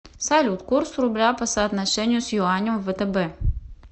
салют курс рубля по соотношению с юанем в втб